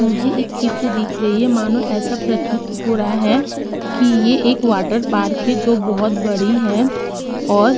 मुझे एक चित्र दिख रही है मानो एैसा प्रतीत हो रहा है कि ये एक वाटर पार्क है जो बहोत बड़ी है और --